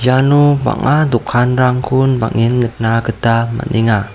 iano bang·a dokanrangkon bang·en nikna gita man·enga.